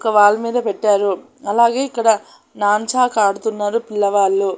ఒక వాల్ మీద పెట్టారు అలాగే ఇక్కడ నాంచాక్ ఆడుతున్నారు పిల్లవాళ్ళు.